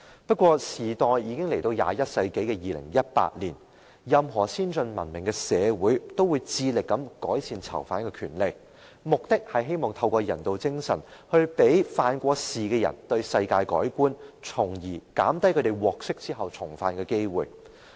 不過，時代已經來到21世紀的2018年，任何先進文明的社會也會致力改善囚犯權利，目的就是希望透過人道精神，讓曾經犯事的人對世界改觀，從而減低他們獲釋後重犯的機會。